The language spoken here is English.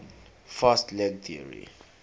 fast leg theory